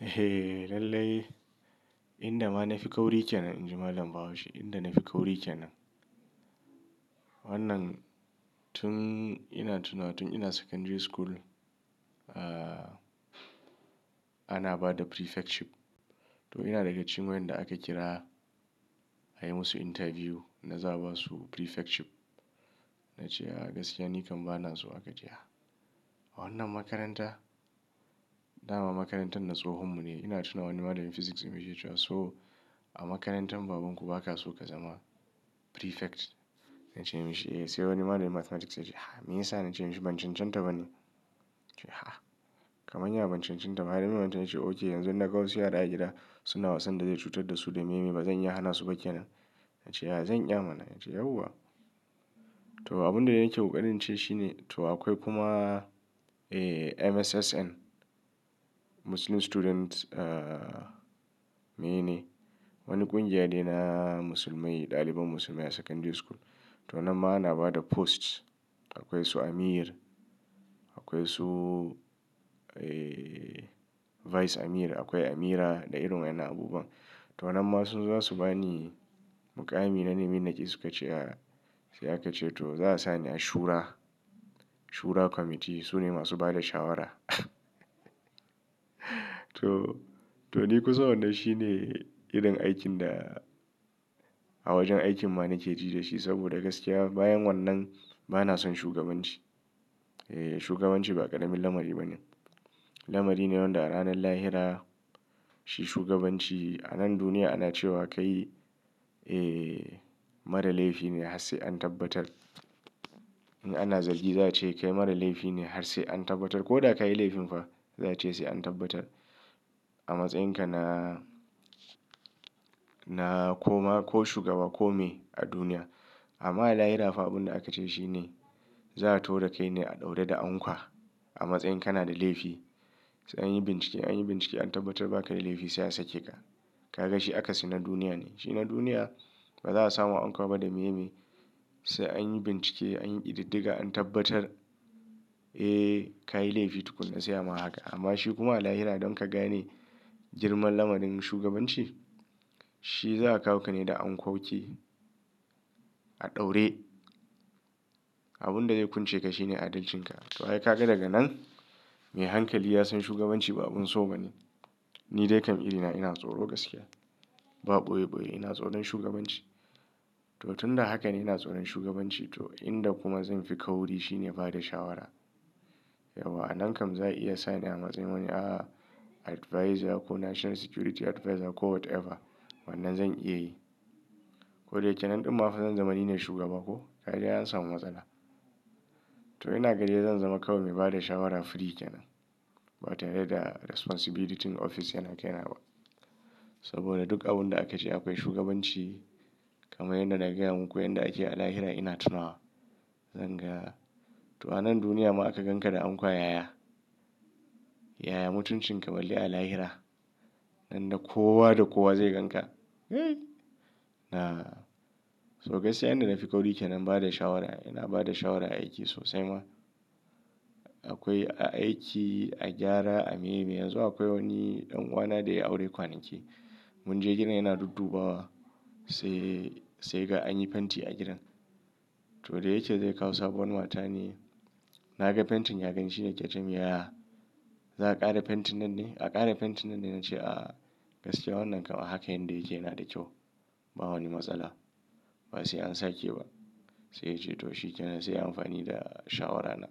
Eh, lallai inda ma na fi kauri kenan. Inji malam Bahaushe, inda na fi kauri kenan. Wannan tun ina tunawa tun ina secondary school. Ana bada prefectship. To ina daga cikin wayanda aka kira a yi musu interview na za a basu prefectship. Na ce, "Aa gaskiya ni kam bana so haka ce ya." Wannan makaranta, dama makarantar na tsohonmu ne. Ina tuna wani malamin Physics dinmu yake cewa, "So a makarantar babanku baka so ka zama prefect." Na ce mashi, "Eh, sai wani malamin Mathematics ya ce, 'Me yasa?' na ce mashi, 'Ban cen centa ba ne.' Ya ce, 'Ha kaman ya ban cen centa ba. Malaminmu ya ce, 'Okay, yanzu na ga wasu yara da aka kira suna wasan da zai cutar da su da me me. Ba zan iya hana su ba kenan.' Ya ce, 'A zan iya mana.' Ya ce, 'Yauwa.' to abin da ya yi nske ƙokarin shine to akwai kuma eh MSSN Muslim Students eh mene. Wani ƙungiya ne na musulmai ɗaliban musulmai a secondary school. To wannan ma ana ba da posts. Akwai su Amir, akwai su eh Vice Amir, akwai Amira da irin wa'inan abubuwa. To wannan ma su su za su bani muƙami na mene nake su ka ce, 'Ya sai aka ce to za a sa ni a shura. Shura committee su ne masu ba da shawara. To, to ni kusan wannan shi ne irin aikin da a wajen aikin ma nake ji da shi. Saboda gaskiya bayan wannan bana son shugabanci. Eh, shugabanci ba ƙaramin lamari ba ne. Lamari ne wanda a ranan lahira shi shugabanci a nan duniya ana cewa kai eh mara laifi ne har sai an tabbatar. In ana zargi za a ce ka yi mara laifi ne har sai an tabbatar. Ko da ka yi laifin fa za a ce sai an tabbatar. A matsayinka na, na koma ko shugaba ko me a duniya. Amma a lahira fa abin da aka ce shi ne za a tafo da kai ne a ɗaure da anƙwa a matsayin kana da laifi. Sai an yi bincike, an yi bincike an tabbatar baka da laifi sai a sake ka. Ka ga shi akasin na duniya ne. Shi na duniya ba baza a sa ma anƙwa ba da meye meye sai an yi bincike, an yi ƙididdiga an tabbatar eh ka yi laifi tukuna sai a ma haka. Amma shi kuma a lahira don ka gane girman lamarin shugabanci shi za a kawo ka ne da ankoki a ɗaure. Abin da zai kunce ka shi ne adalcinka. To ai ka ga daga nan me hankali ya san shugabanci ba abun sauka ne. Ni dai kam irina ina tsoro gaskiya. Ba ɓoye ɓoye ina tsoron shugabanci. To tun da haka ne ina tsoron shugabanci to inda kuma zan fi kauri shi ne bada shawara. Yauwa a nan kam za a iya sa ni a matsayin wani ah advisor ko national security advisor ko whatever. Wannan zan iya yi. Ko da yake nan ɗin ma faa zan zama ni ne shugaba ko? Ka ga dai an samu matsala. To ina ga dai zan zama kawai mai ba da shawara free kenan. Ba tare da responsibility ɗin ofis yana kenawa. Saboda duk abin da aka ce akwai shugabanci kamar yanda na gaya muku yanda ake a lahira ina tunawa. Zan ga to a nan duniya ma aka ganka da anƙwa yaya. Yaya mutuncin ka balle a lahira? Ran da kowa da kowa zai ganka. Na so gaskiya yanda na fi kauri kenan ba da shawara. Ina ba da shawara a aiki sosai ma. Akwai a aiki, a gyara, a me me. Yanzu akwai wani ɗanuwana da ya yi aure kwanaki. Mun je gidan yana duddubawa sai, sai ya ga anyi fenti a gidan. To da yake zai kawo sabuwar mata ne. Na ga fentin ya gani shi ne yake ce mun yaya za a ƙara fentin nan ne? A ƙara fentin nan ne. Na ce, "A gaskiya wannan kam a haka yanda yake yana da kyau. Ba wani matsala. Ba sai an sake ba." Sai ya ce to shikenan sai a yi amfani da shawara na.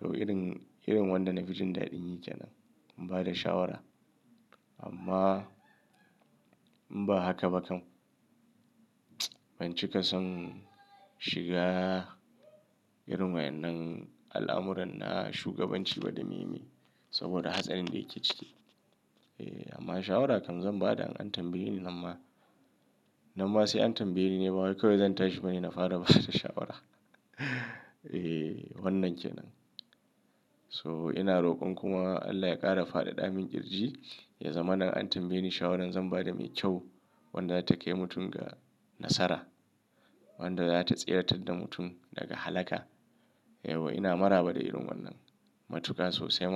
To irin, irin wanda na fi jin daɗin yi kenan. Ba da shawara. Amma in ba haka ba kam ban cika son shiga irin wa'inan al'amuran na shugabanci ba da me me. Saboda hatsarin da yake ciki. Eh amma shawara kam zan bada an tambaye ni. Nan ma, nan ma sai an tambaye ni ne. Ba wai kawai zan tashi ba ne na fara ba da shawara. Eh wannan kenan. So ina rokon kuma Allah ya ƙara faɗaɗa min kirji ya zamana in an tambaye ni shawaran zan ba da mai kyau. Wadda za ta kai mutum ga nasara. Wanda za ta tsiratar mutum daga halaka. Yauwa ina maraba da irin wannan matuka sosai ma.